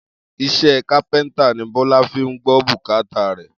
Is̩é̩ kápé̩ńtà ni Bó̩lá fi ń gbó̩ bùkátà rè̩.